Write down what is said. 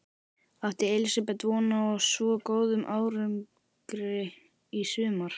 Átti Elísabet von á svo góðum árangri í sumar?